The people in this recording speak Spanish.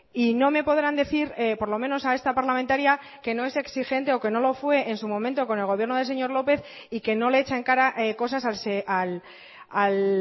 y no me podrán decir por lo menos a esta parlamentaria que no es exigente o que no lo fue en su momento con el gobierno del señor lópez y que no le echa en cara cosas al